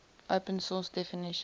open source definition